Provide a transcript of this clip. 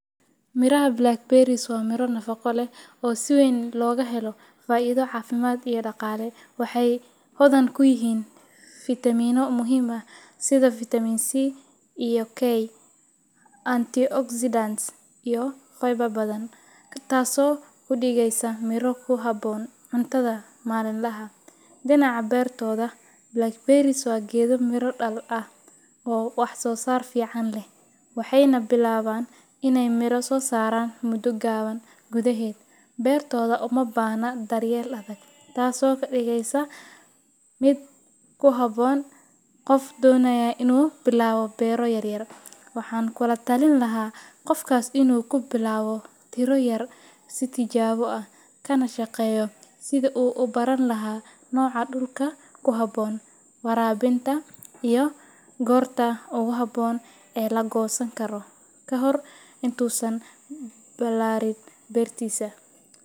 Miraha blackberries waa miro nafaqo leh oo si weyn looga helo faa’iido caafimaad iyo dhaqaale. Waxay hodan ku yihiin fitamiinno muhiim ah sida Vitaminka C iyo K, antioxidants, iyo fiber badan, taasoo ka dhigaysa miro ku habboon cuntada maalinlaha ah. Dhinaca beertooda, blackberries waa geedo miro dhal ah oo wax-soosaar fiican leh, waxayna bilaabaan inay miro soo saaraan muddo gaaban gudaheed. Beertooda uma baahna daryeel adag, taasoo ka dhigaysa mid ku habboon qof doonaya inuu bilaabo beero yar yar. Waxaan kula talin lahaa qofkaas inuu ku bilaabo tiro yar si tijaabo ah, kana shaqeeyo sidii uu u baran lahaa nooca dhulka ku habboon, waraabinta, iyo goorta ugu habboon ee la goosan karo, ka hor inta uusan ballaarin beertiisa.